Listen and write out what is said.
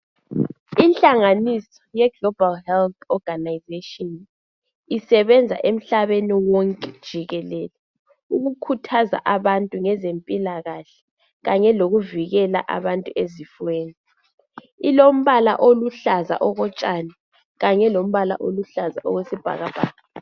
inhlanganiso yeglobal health organisation isebenza emhlabeni wonke jikilele ukukhuthaza abantu ngezempilakahle kanye lokuvikela abantu ezifweni ,ilombala oluhlaza okotshani kanyalombala oluhlaza okwesi bhakabhaka